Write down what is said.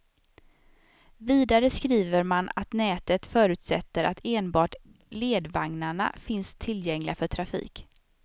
Vidare skriver man att nätet förutsätter att enbart ledvagnarna finns tillgängliga för trafik.